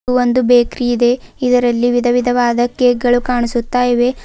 ಇದು ಒಂದು ಬೇಕರಿ ಇದೆ ಇದರಲ್ಲಿ ವಿಧವಿಧವಾದ ಕೇಕ್ ಗಳು ಕಾಣಿಸುತ್ತಾ ಇವೆ.